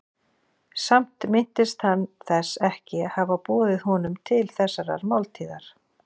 Samt minntist hann þess ekki að hafa boðið honum til þessarar máltíðar.